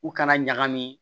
U kana ɲagami